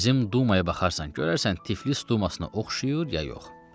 Bizim Dumaya baxarsan, görərsən Tiflis Dumasını oxşayır ya yox.